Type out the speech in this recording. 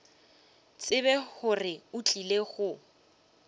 tsebe gore o tlile go